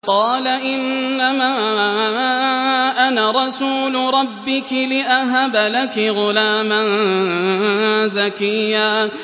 قَالَ إِنَّمَا أَنَا رَسُولُ رَبِّكِ لِأَهَبَ لَكِ غُلَامًا زَكِيًّا